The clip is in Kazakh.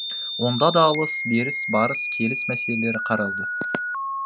онда да алыс беріс барыс келіс мәселелері қаралды